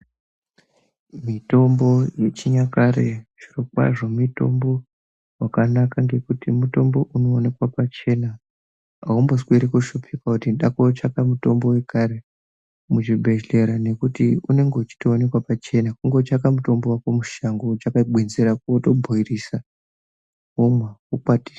Mitombo ye chinyakare zviro kwazvo mitombo wakanaka ngekuti mutombo uno onekwa pachena aumbo sweri ku shupika kuti ndako tsvaka mutombo wekare mu zvibhedhlera nekuti unenge uchito onekwa pachena kungo tsvaka mutombo wako mushango wotsvaka gwenzi rako woto bhoilisa womwa wokwatisa.